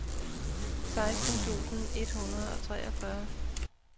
seksten tusind et hundrede og treogfyrre